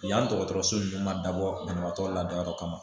Yanni dɔgɔtɔrɔso nunnu ma dabɔ banabagatɔ lada yɔrɔ kama